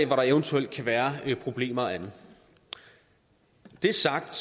hvor der eventuelt kan være problemer og andet når det er sagt